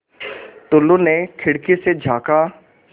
टुल्लु ने खिड़की से झाँका